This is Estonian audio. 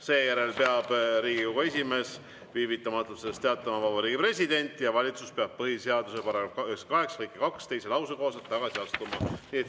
Seejärel peab Riigikogu esimees viivitamatult sellest teavitama Vabariigi Presidenti ja valitsus peab põhiseaduse § 88 lõike 2 teise lause kohaselt tagasi astuma.